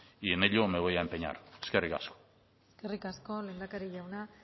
y en ello me voy a empeñar eskerrik asko eskerrik asko lehendakari jauna